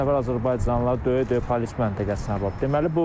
50-60 nəfər azərbaycanlılar döyə-döyə polis məntəqəsinə aparıb.